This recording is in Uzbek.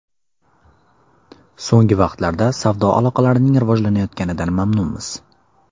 So‘nggi vaqtlarda savdo aloqalarining rivojlanayotganidan mamnunmiz.